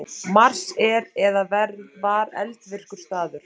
Mars er eða var eldvirkur staður.